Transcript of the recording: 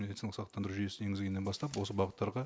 медициналық сақтандыру жүйесін енгізгеннен бастап осы бағыттарға